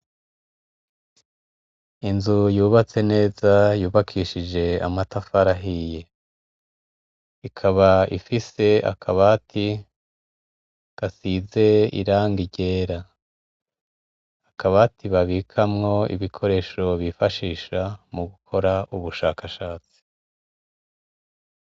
Inzu yubatse neza yubakishije amatafari ahiye, ikaba ifise akabati gasize irangi ryera, akabati babikamwo ibikoresho bifashisha mu gukora ubushakashatsi.